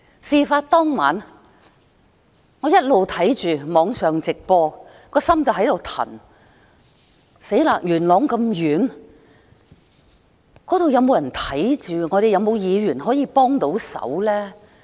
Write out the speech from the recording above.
事發當晚，我一直收看網上直播，一直忐忑不安，元朗那麼遠，那邊有沒有人去看看情況？